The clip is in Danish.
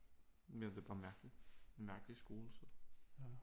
Mere det er bare mærkeligt mærkelig skole så